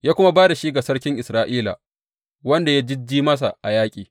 Ya kuma ba da shi ga sarkin Isra’ila, wanda ya jijji masa a yaƙi.